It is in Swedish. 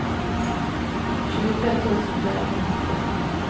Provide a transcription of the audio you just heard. tjugotvå tusen fyrahundratrettio